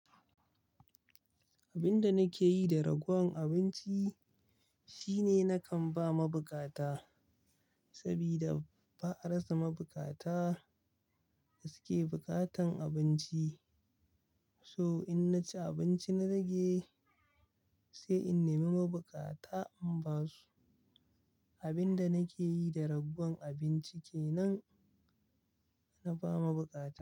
Abin da nake yi da ragowar abinci shine nakan ba mabukata saboda ba a rasa mabukata da suke bukatan abinci. So in na ci abinci na rage, sai in nemi mabukata in ba su. Abin da nake yi da ragowar abinci kenan, na ba mabukata.